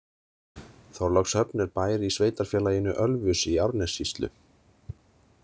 Þorlákshöfn er bær í Sveitarfélaginu Ölfusi í Árnessýslu.